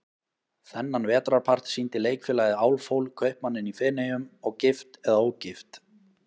Þennan vetrarpart sýndi Leikfélagið Álfhól, Kaupmanninn í Feneyjum og Gift eða ógift?